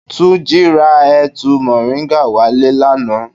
Túnjí ra ẹ̀tu moringa wá le lánàá.